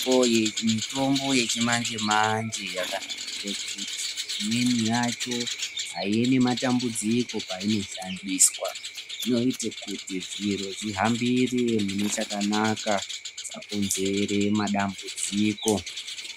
Mitombo yechimanje manje yakanakire kuti imweni yacho aiuyi nematambudziko painoshandiswa , inoite kuti zviro zvihambire mune chakanaka zvisakonzere matambudziko.